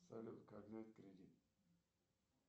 салют как взять кредит